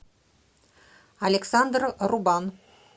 александр рубан